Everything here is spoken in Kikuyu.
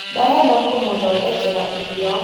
Ndarenda kũmũthondekera irio